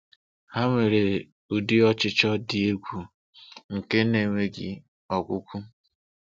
Ha nwere udi ọchịchọ dị egwu nke na-enweghi ọgwụgwụ.